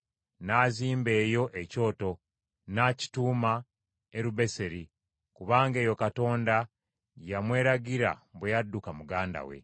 N’azimba eyo ekyoto, n’akituuma Erubeeseeri. Kubanga eyo Katonda gye yamweragira bwe yadduka muganda we.